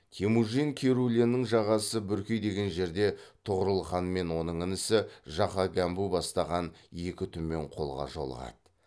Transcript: темужин керуленнің жағасы бүркей деген жерде тұғырылханмен оның інісі жақа гәмбу бастаған екі түмен қолға жолығады